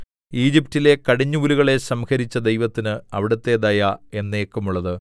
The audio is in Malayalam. ഈജിപ്റ്റിലെ കടിഞ്ഞൂലുകളെ സംഹരിച്ച ദൈവത്തിന് അവിടുത്തെ ദയ എന്നേക്കുമുള്ളത്